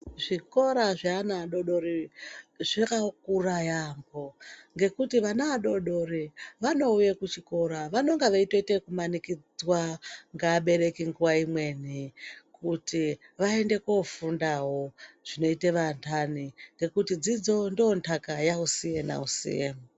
Zvikora zve ana adodori zvaka kura yambo ngekuti vana adodori vanouye ku chikora vanonga veitoite yeku manikidzwa nge abereki nguva imweni kuti vaende ko fundawo zvinoite vandani ngekuti dzidzo ndo ndaka yausiye na usiye.